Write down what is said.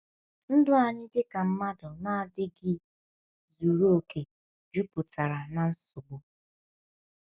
Ndụ anyị dịka mmadụ na-adịghị zuru oke juputara na nsogbu.